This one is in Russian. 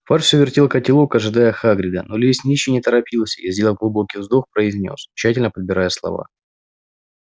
фадж все вертел котелок ожидая хагрида но лесничий не торопился и сделав глубокий вдох произнёс тщательно подбирая слова